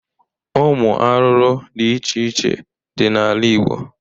Ụmụ arụrụ dị iche iche dị n'ala igbo